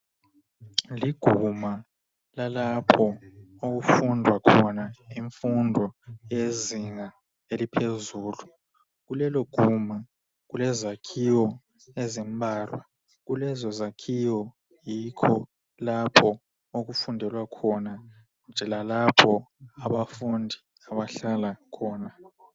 Liguma lalapho okufundwa khona imfundo yezinga eliphezulu. Kuleloguma kulezakhiwo ezimbala, kulezo zakhiwo yikho lapho okufundelwa khona lalapho abafundi abahlala khona.